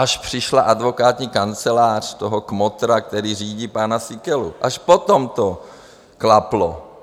Až přišla advokátní kancelář toho kmotra, který řídí pana Síkelu, až potom to klaplo.